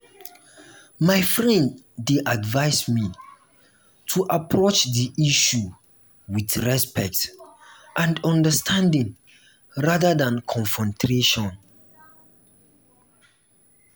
my friend dey advise me to approach the issue with respect and understanding rather than confrontation.